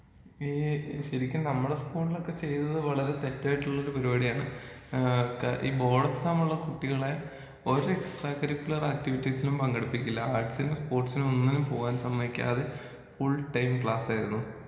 ഈ ശെരിക്കും നമ്മളെസ്കൂളിലൊക്കെ ചെയ്തത് വളരെ തെറ്റായിട്ടുള്ളൊരു പര്പാട്യാണ് ആ ക്കെ ഈ ബോഡെക്സാമൊള്ള കുട്ടികളെ ഒരെക്സ്ട്രാ കരിക്കുലർ ആക്ടിവിറ്റീസീലും പങ്കെടുപ്പിക്കില്ലാ, ആട്സിലും സ്പോട്സിലൊന്നിനും പോകാൻ സമ്മത്ക്കാതെ ഫുൾ ടൈം ക്ലാസേർന്നു.